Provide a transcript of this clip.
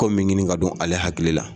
Ko min ɲini ka don ale hakili la.